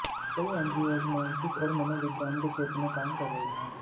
कई एनजीओज मानसिक और मनोविज्ञान के क्षेत्र में काम कर रही हैं